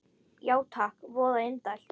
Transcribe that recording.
Já takk, voða indælt